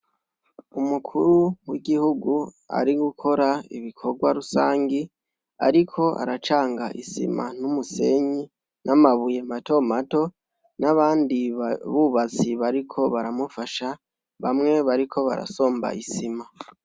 Umukuru wigihugu ari gukora ibikorwa rusangi ariko aracanga isima numusenyi namabuye mato mato nabandi bubatsi bariko baramufasha bamwe bariko barasomba isima